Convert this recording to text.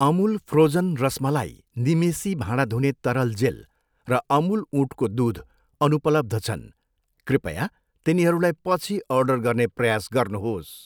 Amul frozen rasmalai, निमेसी भाँडा धुने तरल जेल र अमुल ऊँटको दुध अनुपलब्ध छन्, कृपया तिनीहरूलाई पछि अर्डर गर्ने प्रयास गर्नुहोस्।